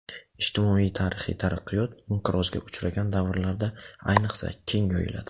Ijtimoiy-tarixiy taraqqiyot inqirozga uchragan davrlarda, ayniqsa, keng yoyiladi.